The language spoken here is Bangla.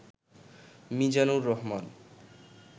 মীজানুর রহমান